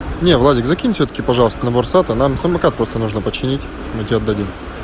не владик закинь всё-таки пожалуйста набор сата нам самокат просто нужно починить мы тебе отдадим